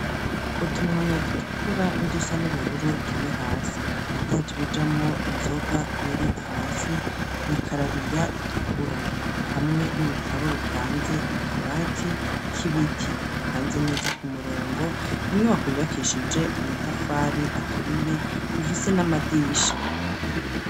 utumwanya dutukura nudusa n'ubururu turi hasi ibidaje bijamo inzoga biri hasi mwikarabiya itukura hamwe n'ibitabo bipanze mu kabati k'ibiti bipanze neza ku murongo inyubako bibakishije amatafari aturiye ifise n'amadirisha